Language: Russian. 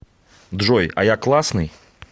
джой а я классный